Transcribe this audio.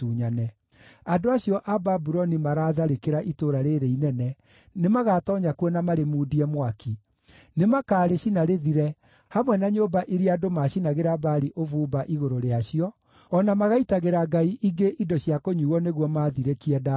Andũ acio a Babuloni maraatharĩkĩra itũũra rĩĩrĩ inene nĩmagatoonya kuo na marĩmundie mwaki; nĩ makaarĩcina rĩthire, hamwe na nyũmba iria andũ maacinagĩra Baali ũbumba igũrũ rĩacio, o na magaitagĩra ngai ingĩ indo cia kũnyuuo nĩguo maathirĩkie ndaakare.